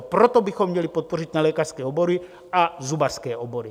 A proto bychom měli podpořit nelékařské obory a zubařské obory.